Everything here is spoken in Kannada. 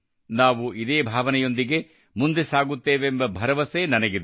ನಾವು ಇದೇ ಭಾವನೆಯೊಂದಿಗೆ ಮುಂದೆ ಸಾಗುತ್ತೇವೆಂಬ ಭರವಸೆ ನನಗಿದೆ